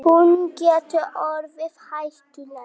Hún getur orðið hættuleg.